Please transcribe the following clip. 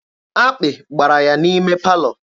Akpị gbara ya n'ime palọ.